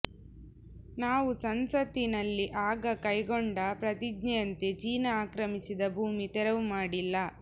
ನಾವು ಸಂಸತ್ತಿನಲ್ಲಿ ಆಗ ಕೈಗೊಂಡ ಪ್ರತಿಜ್ಞೆಯಂತೆ ಚೀನ ಆಕ್ರಮಿಸಿದ ಭೂಮಿ ತೆರವು ಮಾಡಿಲ್ಲ